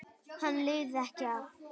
Hann lifði ekki af.